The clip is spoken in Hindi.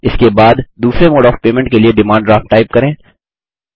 इसके बाद दूसरे मोड ऑफ़ पेमेंट के लिए डिमांड ड्राफ्ट टाइप करें